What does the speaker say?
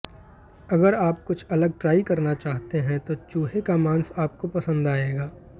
अगर आप कुछ अलग ट्राइ करना चाहते हैं तो चूहे का मांस आपको पसंद आएगा